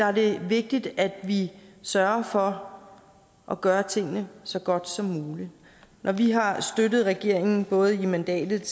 er det vigtigt at vi sørger for at gøre tingene så godt som muligt når vi har støttet regeringen både i mandatet